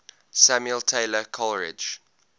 samuel taylor coleridge